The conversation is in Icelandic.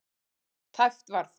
Tæpt var það.